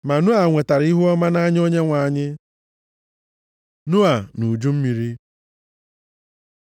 Ma Noa nwetara ihuọma nʼanya Onyenwe anyị. Noa na uju mmiri